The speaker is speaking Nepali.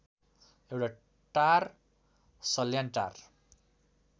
एउटा टार सल्यानटार